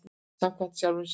Samkvæmur sjálfum sér.